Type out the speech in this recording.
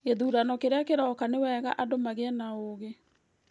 Gĩthurano kĩrĩa kĩrooka nĩ wega andũ magĩe na ũũgi